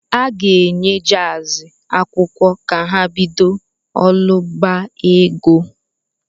A ga-enye JAZ akwụkwọ ka ha bido ụ̣lọọbaego